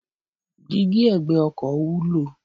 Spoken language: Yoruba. Dígí ẹ̀gbẹ́ ọkọ̀ wúlò.